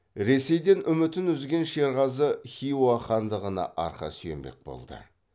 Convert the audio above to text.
ресейден үмітін үзген шерғазы хиуа хандығына арқа сүйенбек болды